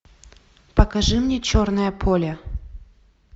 покажи мне черное поле